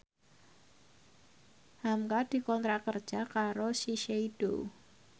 hamka dikontrak kerja karo Shiseido